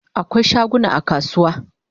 Akwai shaguna a kasuwa